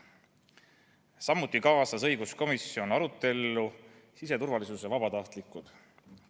Samuti kaasas õiguskomisjon arutellu siseturvalisuse vabatahtlikud.